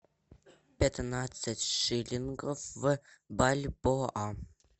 пятнадцать шиллингов в бальбоа